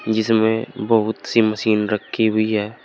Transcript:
जिसमें बहुत सी मशीन रखी हुई है।